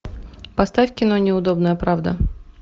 поставь кино неудобная правда